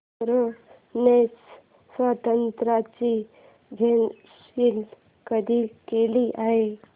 युक्रेनच्या स्वातंत्र्याची घोषणा कधी केली गेली